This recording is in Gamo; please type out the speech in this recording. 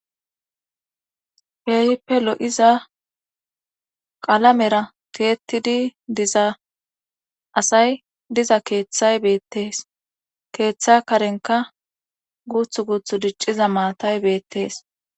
Keehippe lo7iza qalamera keettidi diza asay diza keeththay beettees keeththa karenka guuth guuthu dicciza maatay beettees